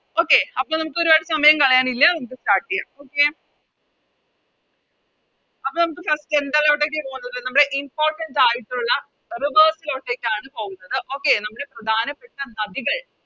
Okay അപ്പൊ നമുക്കൊരുപാട് സമയം കളയാനില്ല നമുക്ക് Start ചെയ്യാം അപ്പൊ നമുക്ക് First എന്താലോട്ടേക്ക പോകേണ്ടത് നമ്മുടെ Importance ആയിട്ടുള്ള Rivers ആണ് പോകുന്നത് Okay നമ്മുടെ പ്രധാനപ്പെട്ട നദികൾ